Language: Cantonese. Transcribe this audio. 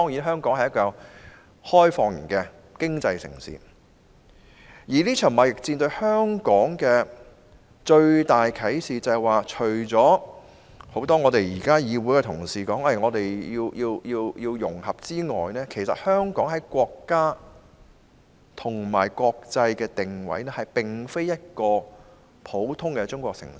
香港作為開放型經濟城市，面對這場貿易戰所得到的最大啟示是，除多位議會剛才說我們要融合外，香港其實在國家與國際的定位並非一個普通的中國城市。